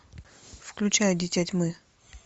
включай дитя тьмы